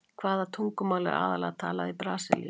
Hvaða tungumál er aðallega talað í Brasilíu?